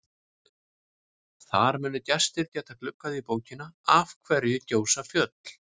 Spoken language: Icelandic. Þar munu gestir geta gluggað í bókina Af hverju gjósa fjöll?